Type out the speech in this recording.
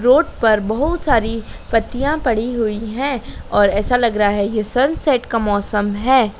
Road पर बहुत सारी पत्तियां पड़ी हुई हैं और ऐसा लग रहा है ये सनसेट का मौसम है।